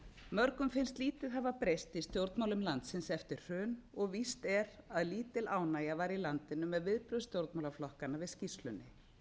mörgum finnst lítið hafa breyst í stjórnmálum landsins eftir hrun og víst er að lítil ánægja var í landinu með viðbrögð stjórnmálaflokkanna við skýrslunni